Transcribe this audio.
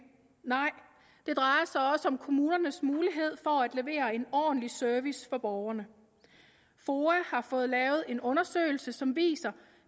nej det drejer sig også om kommunernes mulighed for at levere en ordentlig service til borgerne foa har fået lavet en undersøgelse som viser